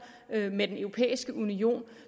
med den europæiske union